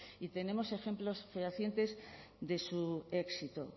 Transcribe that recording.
y tenemos ejemplos fehacientes de su éxito